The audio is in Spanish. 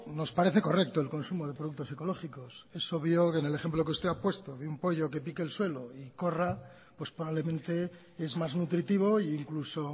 nos parece correcto el consumo de productos ecológicos es obvio que en el ejemplo que usted ha puesto de un pollo que pique el suelo y corra pues probablemente es más nutritivo incluso